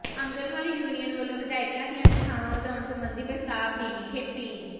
anganwadi union ਵੱਲੋਂ ਵਿਧਾਇਕਾਂ ਦੀਆਂ ਤਨਖ਼ਾਹਾਂ ਵਧਾਉਣ ਸਬੰਧੀ ਪ੍ਰਸਤਾਵ ਦੀ ਨਿਖੇਧੀ